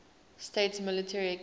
states military academy